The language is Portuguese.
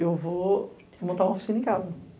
eu vou montar uma oficina em casa.